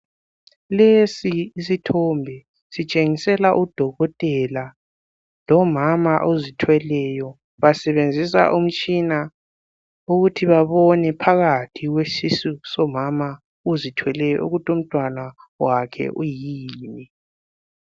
Lesi yisithombe sitshengisela udokotela lomama ozithweleyo basebenzisa umtshina ukuthi babone phakathi kwesisu sikamama ozithweleyo ukuthi umntwana wakhe uyini.